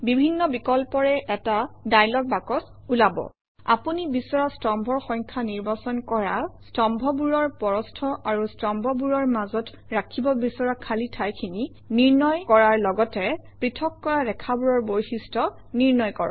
বিভিন্ন বিকল্পৰে এটা ডায়লগ বাকচ ওলাব আপুনি বিচৰা স্তম্ভৰ সংখ্যা নিৰ্বাচন কৰা স্তম্ভবোৰৰ প্ৰস্থ আৰু স্তম্ভবোৰৰ মাজত ৰাখিব বিচৰা খালী ঠাইখিনি নিৰ্ণয় কৰা লগতে পৃথক কৰা ৰেখাবোৰৰ বৈশিষ্ট্য নিৰ্ণয় কৰা